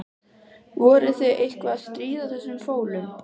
Voruð þið eitthvað að stríða þessum fólum?